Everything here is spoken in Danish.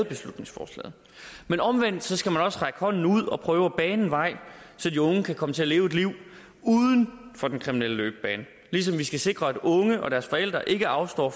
beslutningsforslaget men omvendt skal man også række hånden ud og prøve at bane vejen så de unge kan komme til at leve et liv uden for den kriminelle løbebane ligesom vi skal sikre at unge og deres forældre ikke afstår